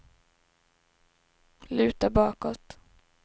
luta bakåt